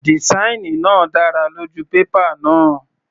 Dìsáìnì náà dára lójú pépà náà.